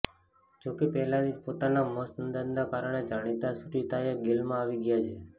જો કે પહેલાથી જ પોતાનાં મસ્ત અંદાજનાં કારણે જાણીતા સુરતીઓ ગેલમાં આવી ગયા છે